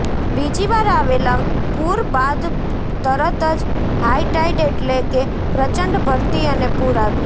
બીજીવાર આવેલા પૂર બાદ તરત જ હાઇ ટાઇડ એટલે કે પ્રચંડ ભરતી અને પૂર આવ્યા